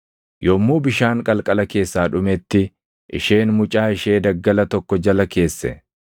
Yommuu bishaan qalqala keessaa dhumetti, isheen mucaa ishee daggala tokko jala keesse.